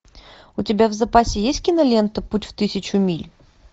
у тебя в запасе есть кинолента путь в тысячу миль